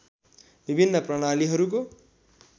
विभिन्न प्रणालीहरूको